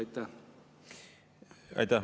Aitäh!